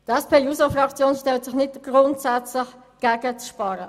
Die SP-JUSOPSA-Fraktion stellt sich nicht grundsätzlich gegen das Sparen.